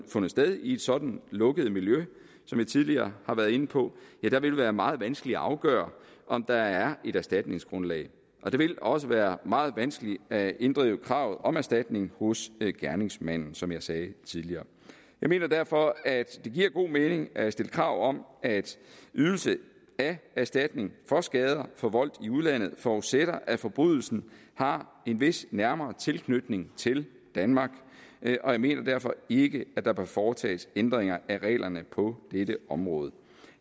fundet sted i et sådant lukket miljø som jeg tidligere har været inde på vil være meget vanskeligt at afgøre om der er et erstatningsgrundlag og det vil også være meget vanskeligt at inddrive kravet om erstatning hos gerningsmanden som jeg sagde tidligere jeg mener derfor at det giver god mening at stille krav om at ydelse af erstatning for skader forvoldt i udlandet forudsætter at forbrydelsen har en vis nærmere tilknytning til danmark og jeg mener derfor ikke at der bør foretages ændringer af reglerne på dette område